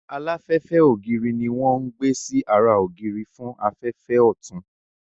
Aláfẹ́fẹ́ ògiri ní wọ́n ń gbé sí ara ògiri fún afẹ́fẹ́ ọ̀tun